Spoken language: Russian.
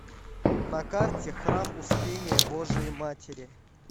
на карте храм успения божией матери